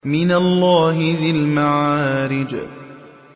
مِّنَ اللَّهِ ذِي الْمَعَارِجِ